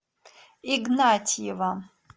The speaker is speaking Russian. игнатьева